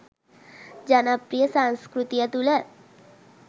ජනප්‍රිය සංස්කෘතිය තුළ